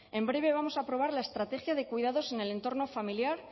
en breve vamos a aprobar la estrategia de cuidados en el entorno familiar